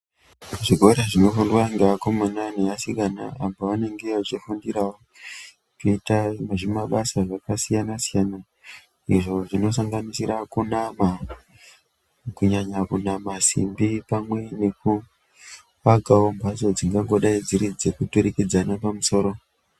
Zvikora zvinofundwa ngeakomana neasikana apa anenge achifungirawo kuita zvimabasa zvakasiyana siyana izvo zvinosanganisira kunama , kunyanya kunama simbi pamwe nekuvakawo mhatso dzingango daidziridza kuturikidzana pamusoro